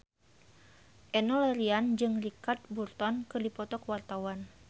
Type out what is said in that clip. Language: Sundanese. Enno Lerian jeung Richard Burton keur dipoto ku wartawan